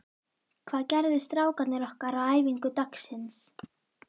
Hvað gerðu strákarnir okkar á æfingu dagsins?